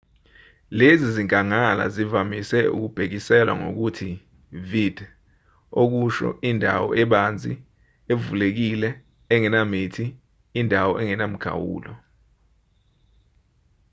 lezi zinkangala zivamise ukubhekiselwa ngokuthi vidde okusho indawo ebanzi evulekile engenamithi indawo engenamikhawulo